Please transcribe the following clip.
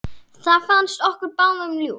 Það fannst okkur báðum ljúft.